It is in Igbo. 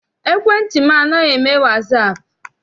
Ekwentị m anaghịzi eme wasaapụ.